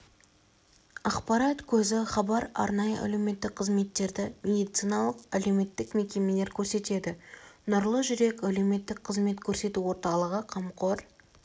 ақпарат көзі хабар арнайы әлеуметтік қызметтерді медициналық-әлеуметтік мекемелер көрсетеді нұрлы жүрек әлеуметтік қызмет көрсету орталығы қамқор